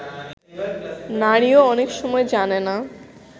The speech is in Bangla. নারীও অনেক সময় জানে না